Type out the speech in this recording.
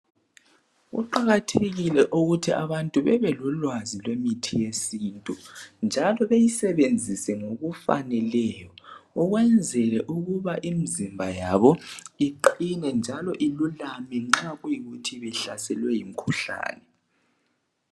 Kuqakathekile ukuthi abantu bebelolwazi lwemithi yesintu. Njalo beyisebenzise ngokufaneleyo, ekwenzela ukbai imizimba yabo iqinine njalo ilulame nxa kuyikuthi ibehlaselwe yimkhuhlane.